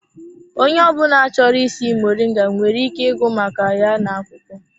Onye ọ bụla chọrọ ịsị moringa nwere ike ịgụ maka ya n'akwụkwọ.